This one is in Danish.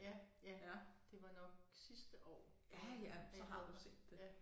Ja ja det var nok sidste år at jeg har været der ja